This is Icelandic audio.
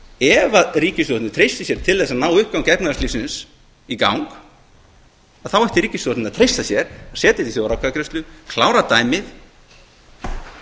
ef því ríkisstjórnin treystir sér til þess að uppgangi efnahagslífsins í gang þá ætti ríkisstjórnin að treysta sér til að setja þetta í þjóðaratkvæðagreiðslu klára dæmið og þá